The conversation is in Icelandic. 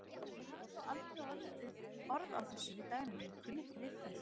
Ég hafði þó aldrei orð á þessu við Dagnýju, kunni ekki við það.